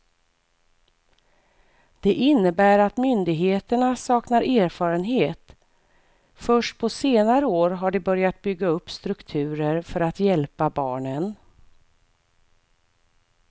Det innebär att myndigheterna saknar erfarenhet, först på senare år har de börjat bygga upp strukturer för att hjälpa barnen.